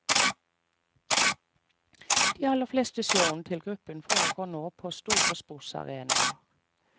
De aller fleste showene til gruppen foregår nå på store sportsarenaer.